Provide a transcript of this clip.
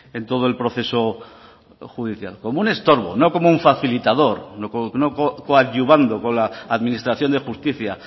en todo el proceso judicial como un estorbo no como un facilitador no coadyuvando con la administración de justicia